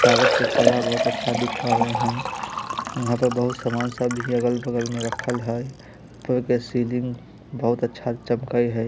सजावट का काला बोहत दिखरा ली ही यहाँ पय बोहत सामान भी अगल बगल मैं राखल ही सीलिंग बोहत झप गई है|